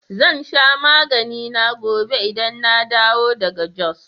Zan sha maganina gobe idan na dawo daga Jos